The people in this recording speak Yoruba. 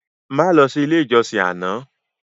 Má lọ sí ilé ìjọsìn àná